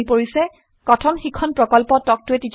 কথন শিক্ষণ প্ৰকল্প তাল্ক ত a টিচাৰ প্ৰকল্পৰ এটা অংগ